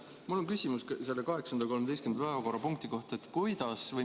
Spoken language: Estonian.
Mul on küsimus 8. ja 13. päevakorrapunkti kohta.